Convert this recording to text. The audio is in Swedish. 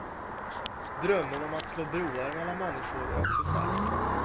Drömmen om att slå broar mellan människor är också stark.